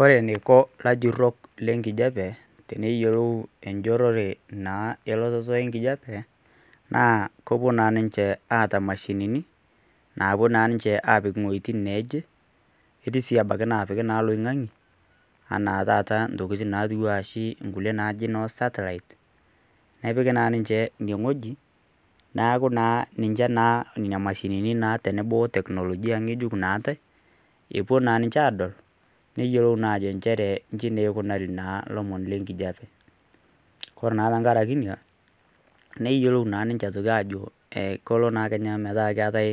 Ore eniko elajurok lee nkijiape teneyilou elototo enkijiape naa kepuo naa ninche ataa mashinini napuo naa ninche apik ewuejitin neje ketii sii napiki oloingange enaa ntokitin najii noo setlite neeku naa ninje Nena mashinini tenebo tekinolojia ng'ejuk naatai epuo naa ninje adol neyiolou naa njere eji eikunari elomon lee nkijiape ore naa tenkaraki enaa neyiolou naa ninje Ajo kelo naa ometaa kitokini ataa